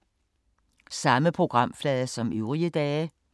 Samme programflade som øvrige dage